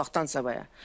Allahdansa.